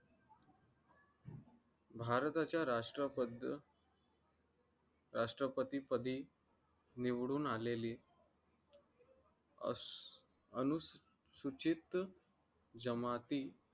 भारताचा राष्ट्रापद राष्ट्रपतीपदी निवडून आलेली अनुसूचित जमाती